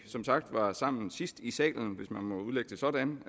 som sagt var sammen sidst i salen hvis man må udlægge det sådan